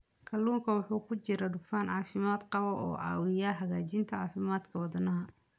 Kalluunka waxaa ku jira dufan caafimaad qaba oo caawiya hagaajinta caafimaadka wadnaha.